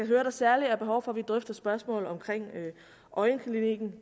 høre at der særlig er behov for at vi drøfter spørgsmålet omkring øjenklinikken